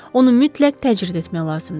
Onu mütləq təcrid etmək lazımdır.